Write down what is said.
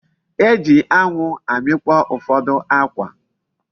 E ji anwu amikpo ufodu akwa.